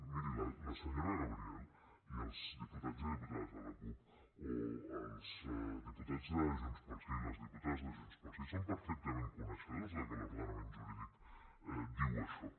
miri la senyora gabriel i els diputats i diputades de la cup o els diputats de junts pel sí les diputades de junts pel sí són perfectament coneixedors de que l’ordenament jurídic diu això